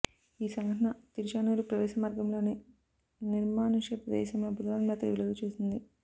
ఈ సంఘటన తిరుచానూరు ప్రవేశ మార్గంలోని నిర్మానుష్య ప్రదేశంలో బుధవారం రాత్రి వెలుగు చూసింది